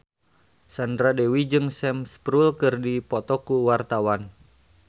Sandra Dewi jeung Sam Spruell keur dipoto ku wartawan